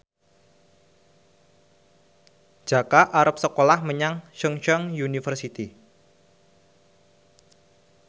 Jaka arep sekolah menyang Chungceong University